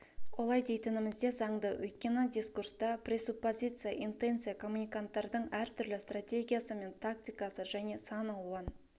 олай дейтіміз де заңды өйткені дискурста пресуппозиция интенция коммуниканттардың әртүрлі стратегиясы мен тактикасы және сан алуан